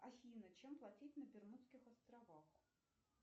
афина чем платить на бермудских островах